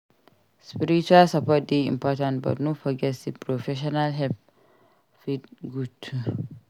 Spiritual support dey important but no forget sey professional help fit good too.